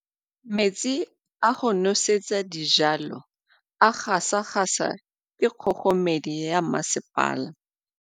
Metsi a go nosetsa dijalo a gasa gasa ke kgogomedi ya masepala.